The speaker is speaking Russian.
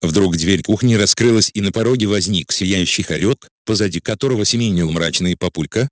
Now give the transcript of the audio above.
вдруг дверь кухни раскрылась и на пороге возник сияющий хорёк позади которого семенил мрачный папулька